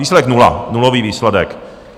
Výsledek nula, nulový výsledek.